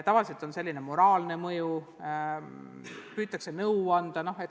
Tavaliselt on sellel säärane moraalne mõju, püütakse nõu anda.